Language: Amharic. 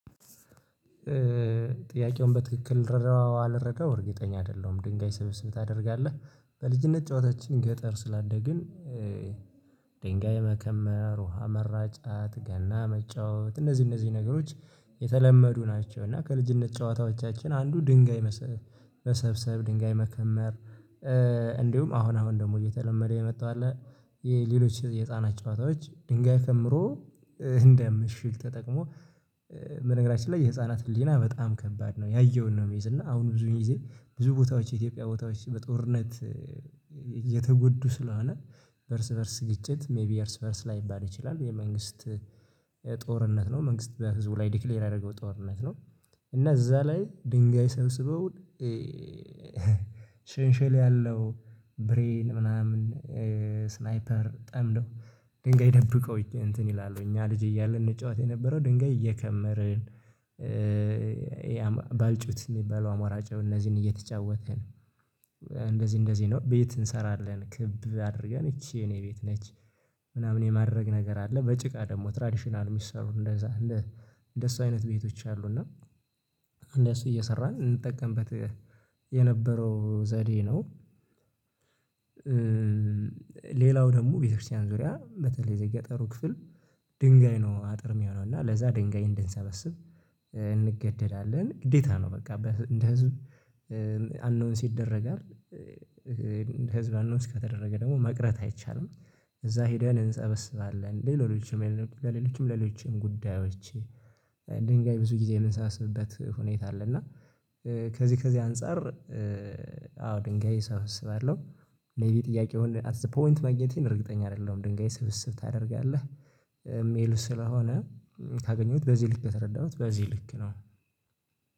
ጥያቄውን በትክክል ልረዳው አልረዳው እርግጠኛ አይደለሁም ድንጋይ ሰብሰብ ታደርጋለህ በልጅነት ጨዋታችን ገጠር ስላደግን ድንጋይ መከመር ውሃ መራጨት ገና መጫወት እነዚህ እነዚህ ነገሮች የተለመዱ ናቸው እና ከልጅነት ጨዋታዎቻችን አንዱ ድንጋይ መሰብሰብ ድንጋይ መከመር እንዲሁም አሁን አሁን ደግሞ እየተለመደ የመጣው አለ የሌሎች የህፃናት ጨዋታዎች ድንጋይ ከምሮ እንደምሽግ ተጠቅሞ በነገራችን ላይ የህፃናት ህሊና በጣም ከባድ ነው ያየውን ነው የሚይዝ እና አሁን ብዙ ጊዜ ብዙ ቦታዎች የኢትዮጵያ ቦታዎች በጦርነት ስለሆነ በእርስ በእርስ ግጭት ሜይቢ የእርስ በእርስ ላይባል ይችላል የመንግስት ጦርነት ነው መንግሥትት በህዝቡ ላይ ዲክሌር ያደረገው ጦርነት ነው እና እዛ ላይ ድንጋይ ሰብስበው ሽንሽል ያለው፣ ብሬን ምናምን ስናይፐር ጠምደው ድንጋይ ደብቀው እንትን ይላሉ እኛ ልጅ እያለ እንጫወት የነበረው ድንጋይ እየከመርን ባልጩት የሚባለው አሞራጭው እነዚህን እየተጫወትን እንደዚህ እንደዚህ ነው ቤት እንሰራለን ክብ አድርገን ይቺ የኔ ቤት ነች ምናምን የማድረግ ነገር አለ በጭቃ ደግሞ ትራዲሽናል የሚሰሩ እንደዛ አለ እንደሱ አይነት ቤቶች አሉ እና እንደሱ እየሰራን እንጠቀምበት የነበረው ዘዴ ነው ሌላው ደግሞ ቤተክርስቲያን ዙሪያ በተለይ እዚህ የገጠሩ ክፍል ድንጋይ ነው አጥር የሚሆነው፣ እና ለዛ ድንጋይ እንድንሰበስብ እንገደዳለን። ግዴታ ነው፣ በቃ። እንደ ህዝብ አናውንስ ይደረጋል። ህዝብ አናውንስ ከተደረገ ደግሞ መቅረት አይቻልም። እዛ ሄደን እንስበስባለን። ለሌሎችም ለሌሎችም ሌሎችም ጉዳዮች ድንጋይ ብዙ ጊዜ የምንሰበስብበት ሁኔታ አለ፣ እና ከዚህ ከዚህ አንፃር አዎ፣ ድንጋይ እሰበስባለሁ። ሜይቢ ጥያቄውን አት ዘ ፖይንት ማግኘቴን እርግጠኛ አይደለሁም። ድንጋይ ስብስብ ታደርጋለህ የሚል ስለሆነ፣ ካገኘሁት በዚህ ልክ ነው የተረዳሁት፣ በዚህ ልክ ነው።